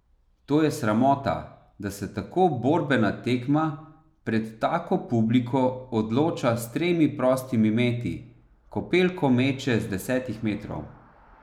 To je sramota, da se tako borbena tekma, pred tako publiko, odloča s tremi prostimi meti, ko Pelko meče z desetih metrov.